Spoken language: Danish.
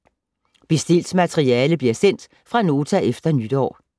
Bestilt materiale bliver sendt fra Nota efter nytår.